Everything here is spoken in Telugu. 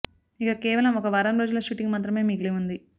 ఇక కేవలం ఒక వారం రోజుల షూటింగ్ మాత్రమే మిగిలి ఉంది